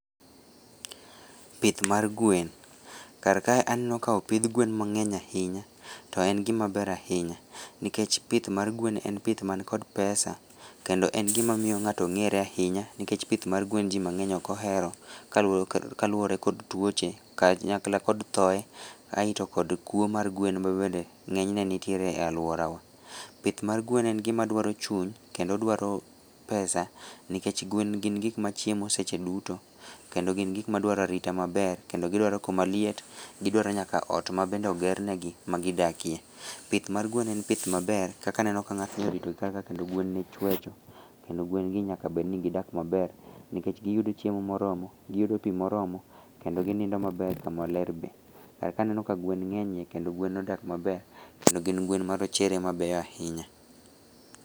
Pith mar gwen, karkae aneno ka opidh gwen mang'eny ahinya , to en gimaber ahinya nikech pith mar gwen en pith man kod pesa kendo en gimamiyo ng'ato ng'ere ahinya nikech pith mar gwen jii mang'eny okohero kaluore kod tuoche kanyakla kod thoe, aeto kod kwo mar gwen ma bende ng'enyne nitiere e aluorawa, pith mar gwen en gimadwaro chuny kendo odwaro pesa nikech gwen gin gikmachiemo secheduto kendo gin gikmadwaro arita maber kendo gidwaro kamaliet kendo gidwaro nyaka ot ma bende ogernegi ma gidakie . Pith mar gwen en pith maber kaka aneno ka ng'atni oritogi karkae kendo gwenne chwecho, kendo gwengi nyakabedni gidak maber, nikech giyudo chiemo moromo, giyudo pii moromo kendo ginindo maber, kamalerbe , karka aneno ka gwen ng'enyie kendo gwen odak maber kendo gin gwen ma rochere ahinya.